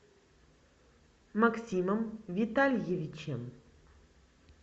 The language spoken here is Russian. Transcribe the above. максимом витальевичем